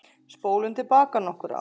Spólum til baka nokkur ár.